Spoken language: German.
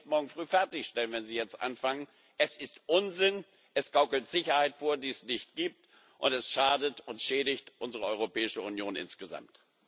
Sie können den Bericht morgen früh fertigstellen, wenn Sie jetzt anfangen. Es ist Unsinn, es gaukelt Sicherheit vor, die es nicht gibt, und es schadet und schädigt unsere Europäische Union insgesamt.